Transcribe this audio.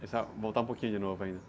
Essa... Voltar um pouquinho de novo ainda.